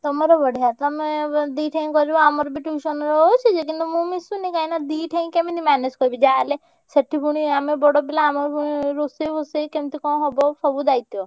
ତମର ବଢିଆ ତମେ ଦି ଠେଇଁ କରିବ ଆମର ବି tuition ରେ ହଉଛି ଯେ କିନ୍ତୁ ମୁଁ ମିଶିନି କାହିଁକିନା ଦି ଠେଇଁ କେମିତି manage କରିବି ଯାହା ହେଲେ ସେଠି ପୁଣି ଆମେ ବଡ ପିଲା ଆମୁକୁ ପୁଣି ରୋଷେଇ ଫୋସେଇ କେମିତି କଣ ହବ ସବୁ ଦାୟିତ୍ବ।